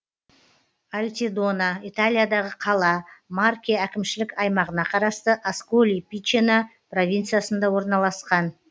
альтидона италиядағы қала марке әкімшілік аймағына қарасты асколи пичено провинциясында орналасқан